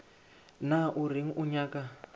na o reng o nyaka